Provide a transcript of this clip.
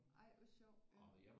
Ej hvor sjovt